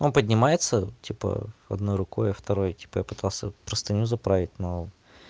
он поднимается типа ээ одной рукой а второй типа я пытался простыню заправить но